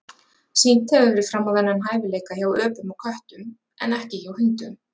Sýnt hefur verið fram á þennan hæfileika hjá öpum og köttum en ekki hjá hundum.